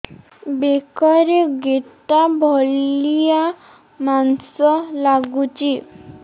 ବେକରେ ଗେଟା ଭଳିଆ ମାଂସ ଲାଗୁଚି